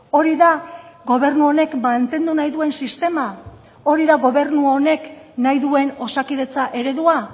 hori da gobernu honek mantendu nahi duen sistema hori da gobernu honek nahi duen osakidetza eredua